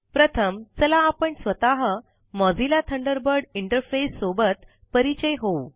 प्रथम चला आपण स्वतः मोझिल्ला थंडरबर्ड इंटरफेस सोबत परिचित होऊ